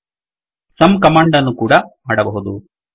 sum command ಅನ್ನೂ ಕೂಡಾ ಮಾಡಬಹುದು